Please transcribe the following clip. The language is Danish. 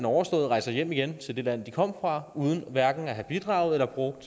overstået rejser de hjem igen til det land de kom fra uden hverken at have bidraget eller brugt